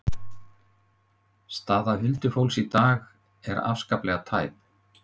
Staða huldufólks í dag er afskaplega tæp.